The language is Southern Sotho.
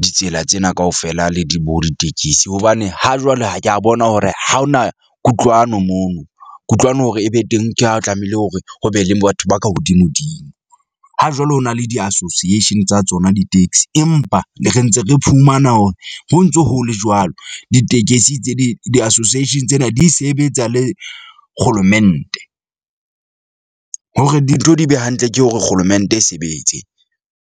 ditsela tsena kaofela le di bo ditekesi. Hobane ha jwale ha ke a bona hore ha hona kutlwano mono. Kutlwano hore e be teng, ke ha o tlamehile hore ho be le batho ba ka hodimo dimo. Ha jwale ho na le di-association tsa tsona di-taxi, empa le re ntse re phumana hore ho ntso ho le jwalo, ditekesi tse di di-association tsena di sebetsa le kgolomente. Hore dintho di be hantle ke hore kgolomente e sebetse.